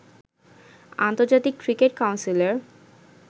আন্তর্জাতিক ক্রিকেট কাউন্সিলের